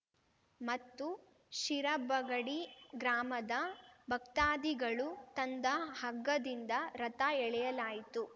ಮತ್ತು ಶಿರಬಗಡಿ ಗ್ರಾಮದ ಭಕ್ತಾಧಿಗಳು ತಂದ ಹಗ್ಗದಿಂದ ರಥ ಎಳೆಯಲಾಯಿತು